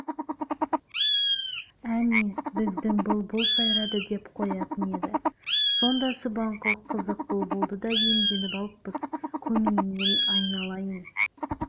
әне біздің бұлбұл сайрады деп қоятын еді сонда субанқұл қызық бұлбұлды да иемденіп алыппыз көмейіңнен айналайын